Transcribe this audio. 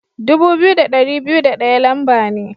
Dubu biyu da dari biyu da daya lamba ne.